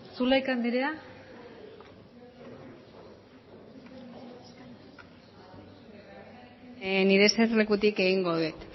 zulaika anderea nire eserlekutik egingo dut